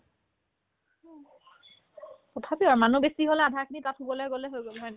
তথাপিও মানুহ বেছি হ'লে আধাখিনি তাতে শুব গ'লে হৈ গ'ল হয়নে নাই